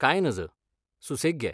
कांय नज, सुसेग घे.